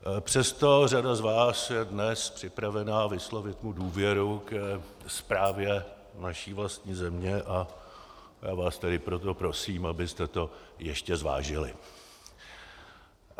Přesto řada z vás je dnes připravena vyslovit mu důvěru ke správě vaší vlastní země, a já vás tedy proto prosím, abyste to ještě zvážili.